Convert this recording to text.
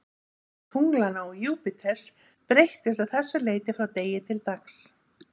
Afstaða tunglanna og Júpíters breytist að þessu leyti frá degi til dags.